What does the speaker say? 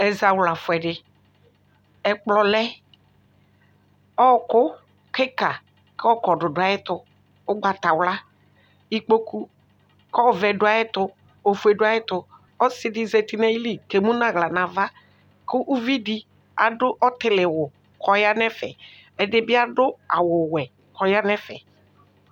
Ɛzawla fʋɛdi ɛkplɔlɛ ɔkʋ kika kʋ ɔkɔdʋ dʋ ayʋ ɛtʋ ʋgbatawla ikpokʋ kʋ ɛvɛ dʋ ayʋ ɛtʋ kʋ ofue dʋ ayɛtʋ ɔsi zeti nʋ ayili kʋ emʋnʋ aɣla nʋ ava kʋ ʋvidi adʋ ɔtiliwʋ kʋ ɔya nʋ ɛfɛ ɛdibi adʋ awʋwɛ kʋ ɔyanʋ ɛfɛ